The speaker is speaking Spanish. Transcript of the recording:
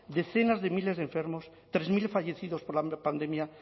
decenas de miles enfermos tres mil fallecidos por la pandemia